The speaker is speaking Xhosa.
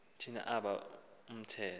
thina aba umthetho